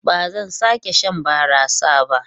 Ba zan sake shan barasa ba.